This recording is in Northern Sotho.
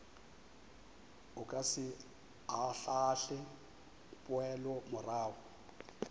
o ka se ahlaahle poelomorago